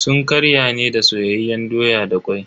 Sun ƙarya ne da soyayyen doya da kwai.